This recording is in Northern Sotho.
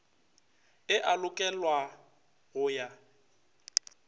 e a lokelwa go ya